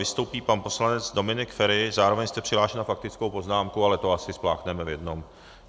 Vystoupí pan poslanec Dominik Feri, zároveň jste přihlášen na faktickou poznámku, ale to asi spláchneme v jednom.